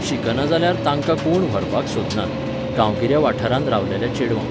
शिकना जाल्यार तांकां कोण व्हरपाक सोदनात, गांवगिऱ्या वाठारांत रावलेल्या चेडवांक.